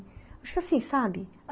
Acho que assim, sabe?